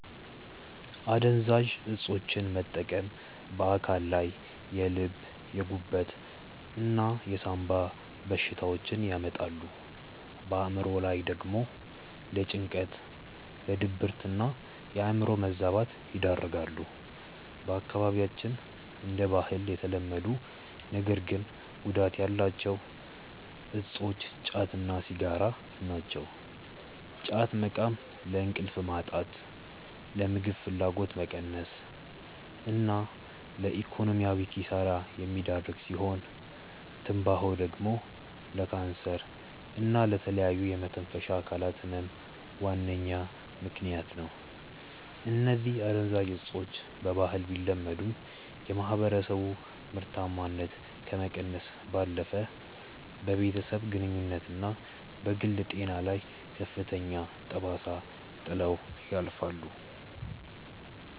አደንዛዥ እፆችን መጠቀም በአካል ላይ የልብ፣ የጉበት እና የሳምባ በሽታዎችን ያመጣሉ፣ በአእምሮ ላይ ደግሞ ለጭንቀት፣ ለድብርትና የአእምሮ መዛባት ይዳርጋሉ። በአካባቢያችን እንደ ባህል የተለመዱ ነገር ግን ጉዳት ያላቸው እፆች ጫት እና ሲጋራ ናቸው። ጫት መቃም ለእንቅልፍ ማጣት፣ ለምግብ ፍላጎት መቀነስ እና ለኢኮኖሚያዊ ኪሳራ የሚዳርግ ሲሆን፤ ትንባሆ ደግሞ ለካንሰር እና ለተለያዩ የመተንፈሻ አካላት ህመም ዋነኛ ምከንያት ነው። እነዚህ አደንዛዥ እፆች በባህል ቢለመዱም፣ የማህበረሰቡን ምርታማነት ከመቀነስ ባለፈ በቤተሰብ ግንኙነትና በግል ጤና ላይ ከፍተኛ ጠባሳ ጥለው ያልፋሉ።